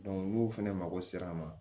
n'u fɛnɛ mako sera a ma